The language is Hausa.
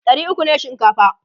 ɗari ukwu ne shinkafa